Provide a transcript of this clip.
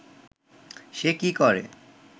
সে কি করে